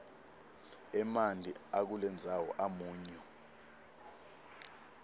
emanti akulendzawo amunyu